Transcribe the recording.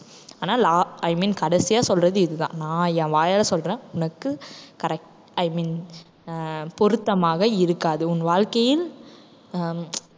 ஆனா las~i mean கடைசியா சொல்றது இதுதான் நான் என் வாயால சொல்றேன். உனக்கு correct i mean அஹ் பொருத்தமாக இருக்காது. உன் வாழ்க்கையில்,